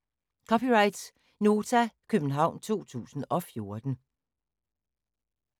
(c) Nota, København 2014